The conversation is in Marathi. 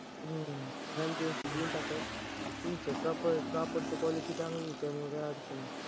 हम्म Franchise देऊन टाका. तुमच्या कापड कापडची quality चांगली त्यामुळे काय अडचण नाही.